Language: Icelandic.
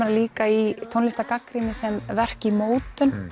þær líka í tónlistargagnrýni sem verk í mótun